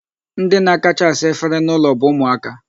Ndi na-akacha asa efere n'ụlọ bụ ụmụaka.